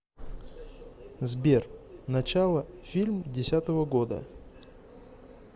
сбер начало фильм десятого года